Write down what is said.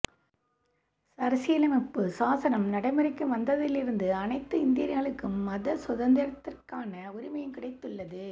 அரசியலமைப்பு சாசனம் நடைமுறைக்கு வந்ததிலிருந்து அனைத்து இந்தியர்களுக்கும் மத சுதந்திரத்திற்கான உரிமையும் கிடைத்துள்ளது